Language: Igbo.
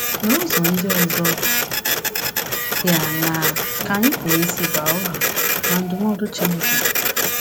N’ụzọ ndị ọzọ dị aṅaa ka anyị pụrụ isi baa uru na ndụmọdụ Chineke?